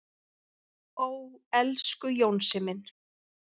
"""Ó, elsku Jónsi minn."""